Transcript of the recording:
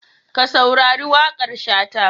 Ka saurari waƙar Shata.